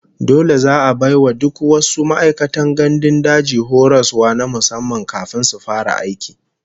Dole za'a bai wa duk wasu ma'aikatan gandun daji horaswa na musamman kafin su fara aiki